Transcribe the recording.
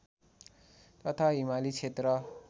तथा हिमाली क्षेत्र